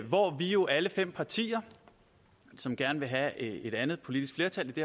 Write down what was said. hvor vi jo alle fem partier som gerne vil have et andet politisk flertal i det